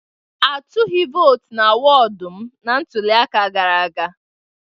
A tụghị vootu na wọdụ m na ntụliaka gara aga.